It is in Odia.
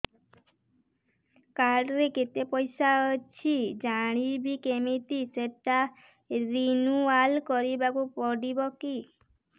କାର୍ଡ ରେ କେତେ ପଇସା ଅଛି ଜାଣିବି କିମିତି ସେଟା ରିନୁଆଲ କରିବାକୁ ପଡ଼ିବ କି